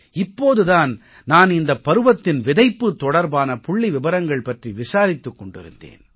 இப்போது தான் நான் இந்தப் பருவத்தின் விதைப்பு தொடர்பான புள்ளி விபரங்கள் பற்றி விசாரித்துக் கொண்டிருந்தேன்